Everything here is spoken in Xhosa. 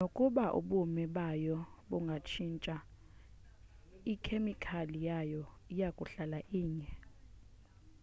nokuba ubume bayo bungatshintsha ikhemikhali yayo iyakuhlala inye